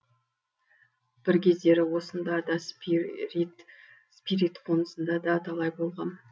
бір кездері осында да спирит қонысында да талай болғам